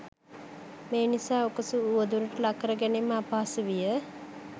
මේනිසා උකුසු උවදුරට ලක් කරගැනීම අපහසු විය.